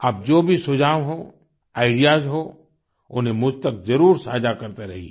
अब जो भी सुझाव हों आईडीईएएस हों उन्हें मुझ तक जरूर साझा करते रहिए